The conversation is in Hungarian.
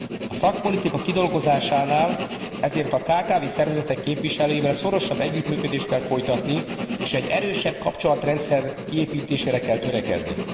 A szakpolitika kidolgozásánál ezért a kkv szervezetek képviselőivel szorosabb együttműködést kell folytatni, és egy erősebb kapcsolatrendszer kiépítésére kell törekedni.